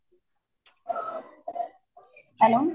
hello